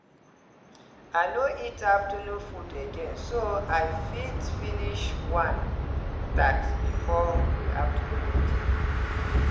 i no eat afternoon food again so i fit finish one task before the afternoon meeting.